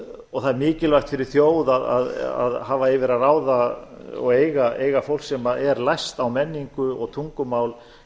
og það er mikilvæg fyrir þjóð að hafa yfir að ráða og eiga fólk sem er læst á menningu og tungumál